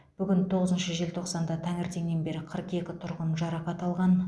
бүгін тоғызыншы желтоқсанда таңертеңнен бері қырық екі тұрғын жарақат алған